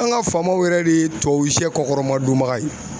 An ga faamaw yɛrɛ de ye tubabuwsɛ kɔkɔrɔmadon baga ye